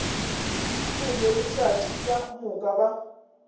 hlwele letšatši ka moka ba